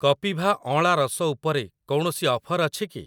କପିଭା ଅଁଳା ରସ ଉପରେ କୌଣସି ଅଫର୍ ଅଛି କି?